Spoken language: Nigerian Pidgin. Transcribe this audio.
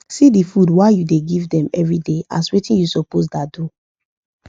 see the food wa u da give them everyday as watin u suppose da do